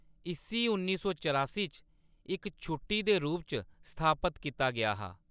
इस्सी उन्नी सौ चरासी च इक छुट्टी दे रूप च स्थापत कीता गेआ हा।